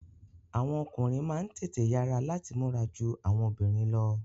Àwọn ọkùnrin máa n tètè yara lati múra jù awọn obìnrin lọ.